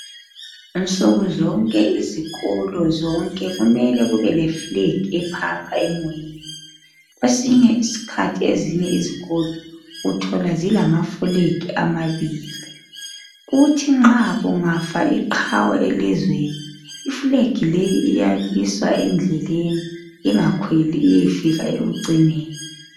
Nsukuzonke izikolo zonke kumele kube leflegi ephapha emoyeni kwesinye isikhathi ezinye izikolo uthola zilama fulegi amabili, kuthi nxa kungafa iqhawe elizweni ifuleki leyi iyamiswa edleleni ingakhweli iyefika ekucineni.